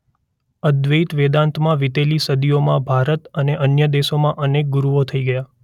અદ્વૈત વેદાંતમાં વિતેલી સદીઓમાં ભારત અને અન્ય દેશોમાં અનેક ગુરુઓ થઈ ગયા.